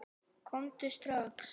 Komdu strax!